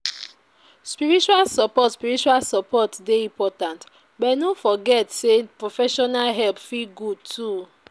Spiritual support spiritual support dey important but no forget sey professional help fit good too.